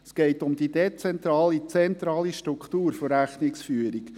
Es geht um die dezentrale/zentrale Struktur der Rechnungsführung.